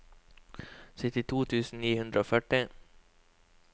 syttito tusen ni hundre og førti